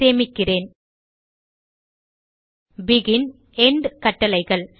சேமிக்கிறேன் begin end கட்டளைகள்